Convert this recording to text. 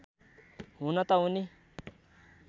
हुन त उनी